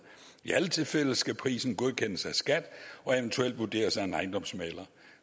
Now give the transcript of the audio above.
i alle tilfælde skal prisen godkendes af skat og eventuelt vurderes af en ejendomsmægler